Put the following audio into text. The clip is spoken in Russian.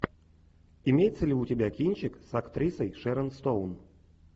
имеется ли у тебя кинчик с актрисой шерон стоун